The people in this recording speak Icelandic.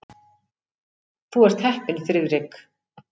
Þú ert heppinn, Friðrik.